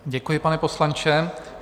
Děkuji, pane poslanče.